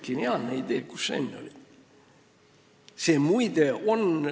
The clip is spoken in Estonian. Geniaalne idee – kus sa enne olid?